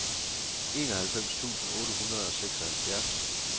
enoghalvfems tusind otte hundrede og seksoghalvfjerds